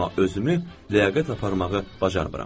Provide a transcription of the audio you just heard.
Amma özümü ləyaqətə aparmağı bacarmıram.